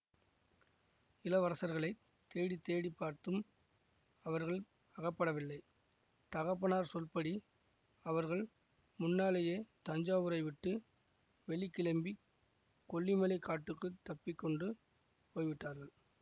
இளவரசர்களைத் தேடி தேடி பார்த்தும் அவர்கள் அகப்படவில்லை தகப்பனார் சொற்படி அவர்கள் முன்னாலேயே தஞ்சாவூரைவிட்டு வெளி கிளம்பிக் கொள்ளிமலைக் காட்டுக்குத் தப்பித்து கொண்டு போய் விட்டார்கள்